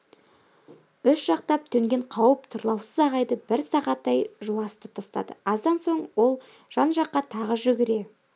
үш жақтап төнген қауіп тұрлаусыз ағайды бір сағаттай жуасытып тастады аздан соң ол жан-жаққа тағы жүгіре